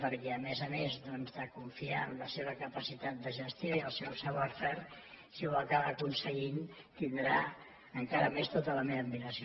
perquè a més a més doncs de confiar en la seva capacitat de gestió i el seu savoir faireaconseguint tindrà encara més tota la meva admiració